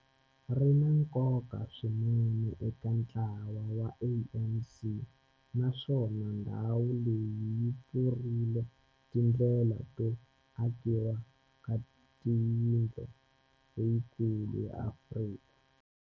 Ri na nkoka swinene eka ntlawa wa ANC, naswona ndhawu leyi yi pfurile tindlela to akiwa ka yindlu leyikulu ya Afrika.